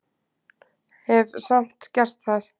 Hef samt gert það.